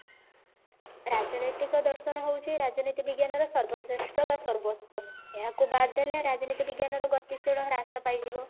ରାଜନୈତିକ ଦର୍ଶନ ହଉଛି ରାଜନୀତି ବିଜ୍ଞାନ ର ସର୍ବଶ୍ରେଷ୍ଠ ବା ସର୍ବୋଛ ଏହାକୁ ବାଦ ଦେଲେ ରାଜନୀତି ବିଜ୍ଞାନର ଗତିଶିଳ ହ୍ରାସ ପାଇଯିବ